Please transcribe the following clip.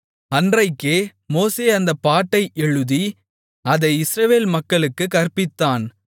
அன்றைக்கே மோசே அந்தப் பாட்டை எழுதி அதை இஸ்ரவேல் மக்களுக்குக் கற்பித்தான்